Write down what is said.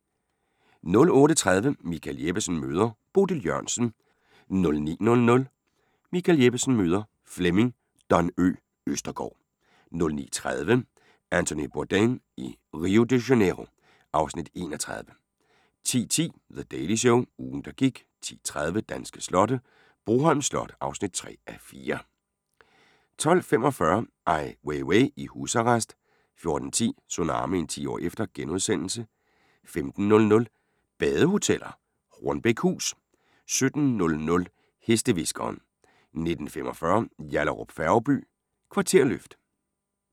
08:30: Michael Jeppesen møder ... Bodil Jørgensen 09:00: Michael Jeppesen møder ... Flemming "Don Ø" Østergaard 09:30: Anthony Bourdain i Rio de Janeiro (Afs. 31) 10:10: The Daily Show – ugen der gik 10:30: Danske slotte: Broholm Slot (3:4) 12:45: Ai Weiwei i husarrest 14:10: Tsunamien – 10 år efter * 15:00: Badehoteller - Hornbækhus 17:00: Hestehviskeren 19:45: Yallahrup Færgeby: Kvarterløft